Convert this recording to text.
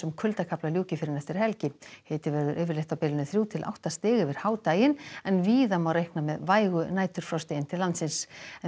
kuldakafla ljúki fyrr en eftir helgi hiti verður yfirleitt á bilinu þrjú til átta stig yfir en víða má reikna með vægu næturfrosti inn til landsins